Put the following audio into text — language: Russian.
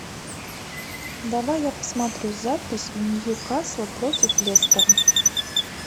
давай я посмотрю запись ньюкасла против лестера